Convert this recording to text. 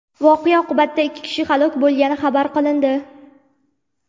Voqea oqibatida ikki kishi halok bo‘lgani xabar qilindi.